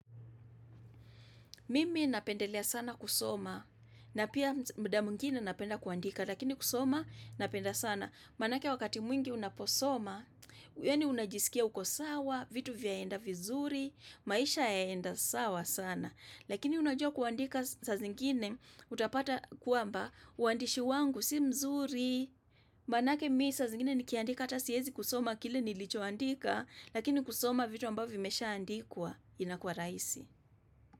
Mimi napendelea sana kusoma, na pia muda mwingine napenda kuandika, lakini kusoma napenda sana. Manake wakati mwingi unaposoma, yani unajisikia uko sawa, vitu vyaenda vizuri, maisha yaenda sawa sana. Lakini unajua kuandika saa zingine, utapata kwamba, uandishi wangu si mzuri. Manake mimi saa zingine nikiandika hata siwezi kusoma kile nilichoandika, lakini kusoma vitu ambavyo vimeshaandikwa inakuwa rahisi.